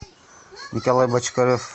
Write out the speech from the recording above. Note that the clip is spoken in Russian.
николай бочкарев